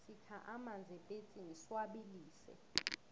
sikha amanzi epetsini siwabilise